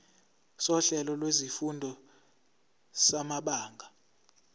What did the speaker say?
sohlelo lwezifundo samabanga